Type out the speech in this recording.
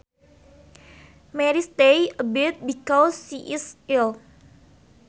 Mary stays abed because she is ill